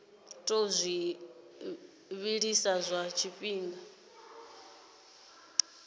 tou zwi vhilisa lwa tshifhinga